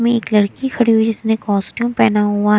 में एक लड़की खड़ी हुई जिसने कॉस्ट्यूम पेहना हुआ--